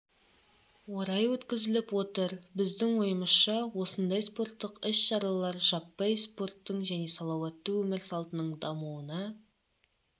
орай өткізіліп отыр біздің ойымызша осындай спорттық іс-шаралар жаппай спорттың және салауатты өмір салтының дамуына